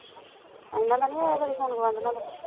ਆਏਨਾ ਦਾ ਨੀ ਆਇਆ ਕਦੀ phone ਗਵੰਡਣਾ ਦਾ